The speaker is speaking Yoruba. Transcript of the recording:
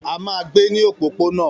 A máa gbé ní òpópónà